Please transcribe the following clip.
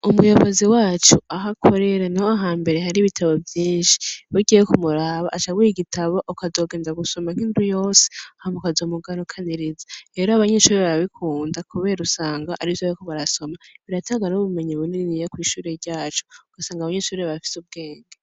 Umuyobozi wacu aho akorera, niho hambere hari ibitabo vyinshi. Iyo ugiye kumuraba aca aguha igitabo ukazogenda gusoma nk'indwi yose, hanyuma ukazomugarukaniriza. Rero abanyeshure barabikunda kubera usanga arivyo bariko barasoma, biratanga n'ubumenyi buniniya kw'ishure ryacu. Usanga abanyeshuri bafise ubwenge.